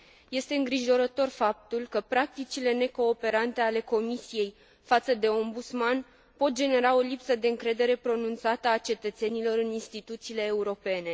Este îngrijorător faptul că practicile necooperante ale Comisiei față de Ombudsman pot genera o lipsă de încredere pronunțată a cetățenilor în instituțiile europene.